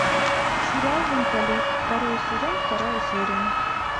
сериал менталист второй сезон вторая серия